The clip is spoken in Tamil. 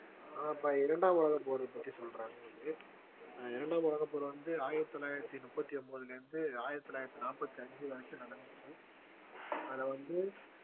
இப்ப இரண்டாம் உலகப் போரை பத்தி சொல்றேன் உங்களுக்கு இரண்டாம் உலகப்போர் வந்து ஆயிரத்தி தொள்ளாயிரத்தி முப்பத்தி ஒன்பதிலிருந்து ஆயிரத்தி தொள்ளாயிரத்தி நாற்பத்தி அஞ்சு வரைக்கும் நடந்துச்சு அதுல வந்து